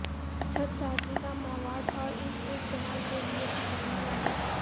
چھت سازی کا مواد اور اس کے استعمال کے لئے چپکنے والی